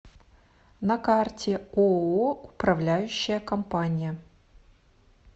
на карте ооо управляющая компания